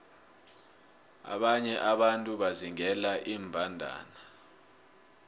abanye abantu bazingela iimbandana